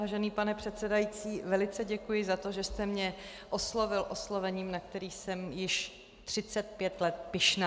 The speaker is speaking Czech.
Vážený pane předsedající, velice děkuji za to, že jste mě oslovil oslovením, na které jsem již 35 let pyšná.